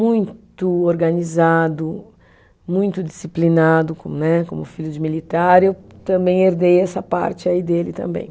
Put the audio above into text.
Muito organizado, muito disciplinado com, né, como filho de militar, eu também herdei essa parte aí dele também.